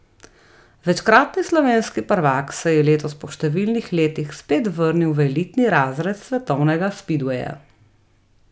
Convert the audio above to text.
Večkratni slovenski prvak se je letos po številnih letih spet vrnil v elitni razred svetovnega spidveja.